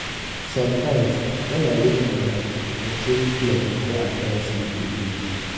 sometimes when i wake for night i check clock before i try sleep again.